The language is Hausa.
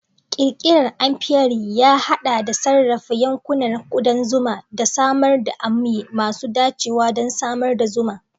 Ƙirƙirar apiary ya haɗa da sarrafa yankunan kudan zuma da samar da amya masu dacewa don samar da zuma.